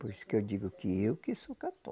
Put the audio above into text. Por isso que eu digo que eu que sou cató